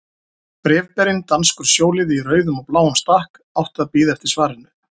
Bréfberinn, danskur sjóliði í rauðum og bláum stakk, átti að bíða eftir svarinu.